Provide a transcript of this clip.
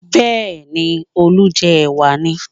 Bẹ́ẹ̀ni, Olú ń jẹ ẹ̀wà ni